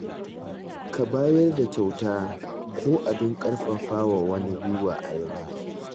Ka bayar da kyauta ko abin ƙarfafawa wani gwuiwa a yau.